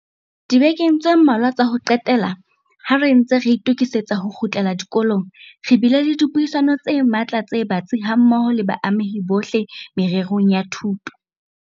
Dibekeng tse mmalwa tsa ho qetela, ha re ntse re itokisetsa ho kgutlela dikolong, re bile le dipuisano tse matla tse batsi hammoho le baamehi bohle mererong ya thuto.